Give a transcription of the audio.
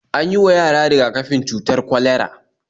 An yi wa yara riga-kafin cutar kwalera